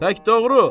Tək doğru.